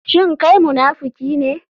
Shin kai munafiki ne?